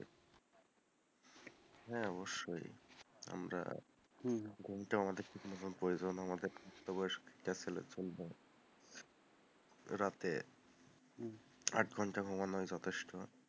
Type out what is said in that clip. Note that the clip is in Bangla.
হ্যাঁ অবশ্যই, আমরা হম ঘুমটা আমাদের জন্য প্রয়োজন, আমাদের প্রাপ্ত বয়স্ক ছেলের জন্য রাতে আট ঘন্টা ঘুমানোই যথেষ্ট,